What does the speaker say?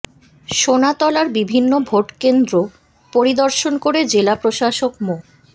সোনাতলার বিভিন্ন ভোট কেন্দ্র পরিদর্শন করে জেলা প্রশাসক মো